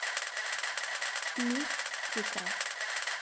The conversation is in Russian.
мистика